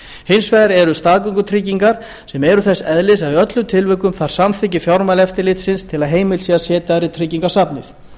hins vegar eru staðgöngutryggingar sem eru þess eðlis að í öllum tilvikum þarf samþykki fjármálaeftirlitsins til að heimilt sé að setja þær í tryggingasafnið